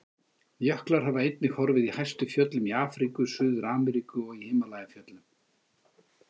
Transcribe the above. Jöklar hafa einnig horfið í hæstu fjöllum í Afríku, Suður-Ameríku og Himalajafjöllum.